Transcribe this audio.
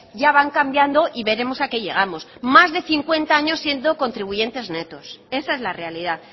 ya van cambiando y veremos a qué llegamos más de cincuenta años siendo contribuyentes netos esa es la realidad